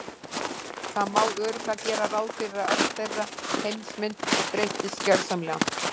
Það má örugglega gera ráð fyrir að öll þeirra heimsmynd breyttist gjörsamlega.